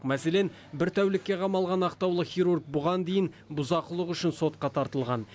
мәселен бір тәулікке қамалған ақтаулық хирург бұған дейін бұзақылық үшін сотқа тартылған